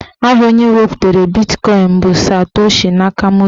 Aha onye wepụtara bitkọin bụ Satoshi Nakamoto.